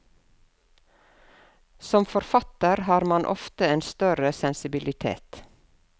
Som forfatter har man ofte en større sensibilitet.